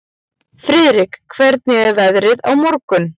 Friðrik, hvernig er veðrið á morgun?